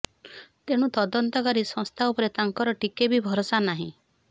ତେଣୁ ତଦନ୍ତକାରୀ ସଂସ୍ଥା ଉପରେ ତାଙ୍କର ଟିକେ ବି ଭରସା ନାହିଁ